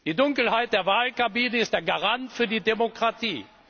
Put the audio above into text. Die Dunkelheit der Wahlkabine ist der Garant für die Demokratie.